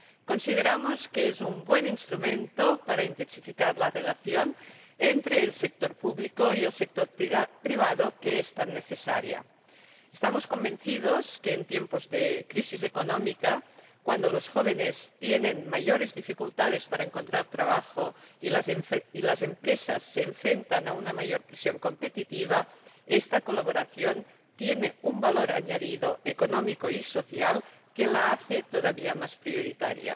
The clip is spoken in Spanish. Consideramos que es un buen instrumento para intensificar la relación entre el sector público y el sector privado, que es tan necesaria. Estamos convencidos de que en tiempos de crisis económica, cuando los jóvenes tienen mayores dificultades para encontrar trabajo y las empresas se enfrentan a una mayor presión competitiva, esta colaboración tiene un valor añadido, económico y social que la hace todavía más prioritaria.